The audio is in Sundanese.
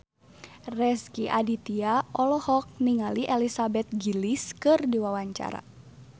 Rezky Aditya olohok ningali Elizabeth Gillies keur diwawancara